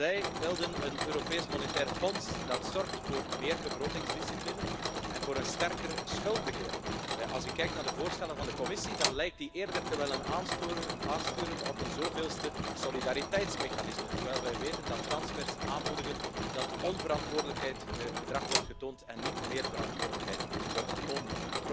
Zij wilden een Europees Monetair Fonds dat zorgt voor meer begrotingsdiscipline en voor een sterker schuldbeheer. Als ik kijk naar de voorstellen van de Commissie, dan lijkt zij eerder te willen aansturen op een zoveelste solidariteitsmechanisme, terwijl wij weten dat transfers onverantwoordelijk gedrag in de hand werken in plaats van dat meer verantwoordelijkheid wordt genomen.